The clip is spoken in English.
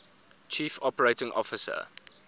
chief operating officer